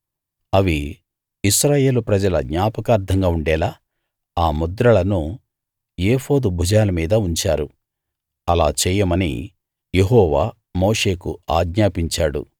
అవి ఇశ్రాయేలు ప్రజల జ్ఞాపకార్ధంగా ఉండేలా ఆ ముద్రలను ఏఫోదు భుజాల మీద ఉంచారు అలా చేయమని యెహోవా మోషేకు ఆజ్ఞాపించాడు